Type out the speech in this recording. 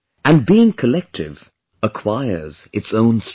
And being collective acquires its own strength